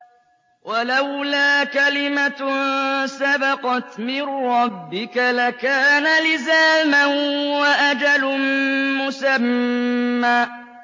وَلَوْلَا كَلِمَةٌ سَبَقَتْ مِن رَّبِّكَ لَكَانَ لِزَامًا وَأَجَلٌ مُّسَمًّى